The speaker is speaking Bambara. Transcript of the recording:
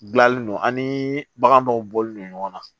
Gilalen don ani bagan dɔw bɔlen don ɲɔgɔn na